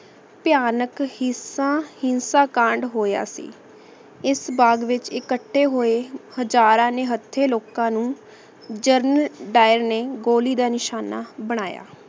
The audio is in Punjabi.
ਭਯਾਨਕ ਹਿੰਸਾ ਕਾਂਡ ਹੋਯਾ ਸੀ ਏਸ ਬਾਘ ਵਿਚ ਇਕੱਠੇ ਹੋਏ ਹਜ਼ਾਰਾਂ ਨੇ ਹੱਥੇ ਲੋਕਾਂ ਨੂ ਜਰਨ ਦਾਇਰ ਨੇ ਗੋਲੀ ਦਾ ਨਿਸ਼ਾਨਾ ਬਨਾਯਾ